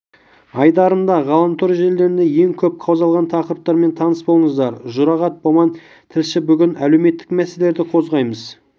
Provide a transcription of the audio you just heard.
айдарында ғаламтор желілерінде ең көп қаузалған тақырыптармен таныс болыңыздар жұрағат баман тілші бүгін әлеуметтік мәселелерді қозғаймыз